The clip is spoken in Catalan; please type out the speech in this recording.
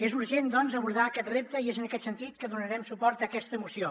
és urgent doncs abordar aquest repte i és en aquest sentit que donarem suport a aquesta moció